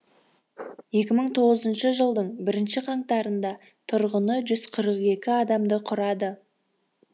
екі мың тоғызыншы жылдың бірінші қаңтарында тұрғыны жүз қырық екі адамды құрады